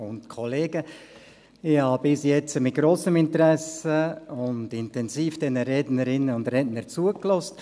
Ich habe bis jetzt mit grossem Interesse und intensiv den Rednerinnen und Rednern zugehört.